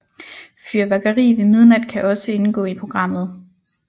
Fyrværkeri ved midnat kan også indgå i programmet